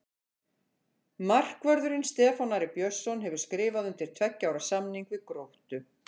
Markvörðurinn Stefán Ari Björnsson hefur skrifað undir tveggja ára samning við Gróttu.